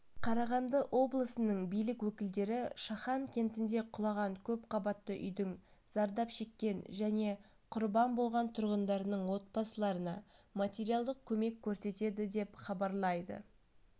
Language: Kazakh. қарағанды облысының билік өкілдері шахан кентінде құлаған көпқабатты үйдің зардап шеккен және құрбан болған тұрғындарының отбасыларына материалдық көмек көрсетеді деп хабарлайды